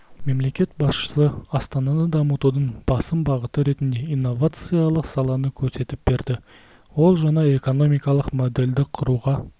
мемлекет басшысы астананы дамытудың басым бағыты ретінде инновациялық саланы көрсетіп берді ол жаңа экономикалық модельді құруға